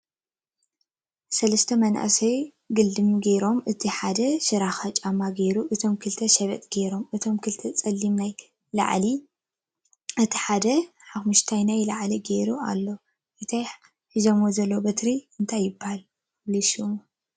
ሰለስተ መናእሰይ አገልድም ጌሮም እቲ ሓደ ሽራክ ጫማ ጌሩ እቶም ክልተ ሸበጥ ጌሮም ።እቶም ክልተ ፀሊም ናይ ላዕሊ እቲ ሓደ ሓመኩስታይ ናይ ላዕሊ ጉሩ አሎ ። እቲ ሒዞሞ ዘለዉ በትሪ እንታይ ይበሃል ፍሉይ ሽሙ ?